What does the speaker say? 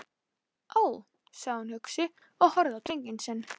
Ó, sagði hún hugsi og horfði á drenginn sinn.